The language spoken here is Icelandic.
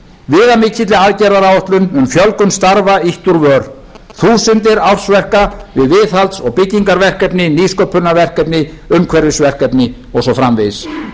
viðamikilli aðgerðaáætlun um fjölgun starfa ýtt úr vör þúsundir ársverka við viðhalds og byggingarverkefni nýsköpunarverkefni umhverfisverkefni og svo framvegis